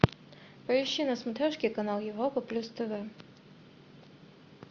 поищи на смотрешке канал европа плюс тв